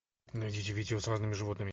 найдите видео с разными животными